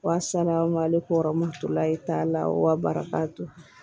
Wa sanayaama ale kɔrɔmuso layi t'a la wa baraka to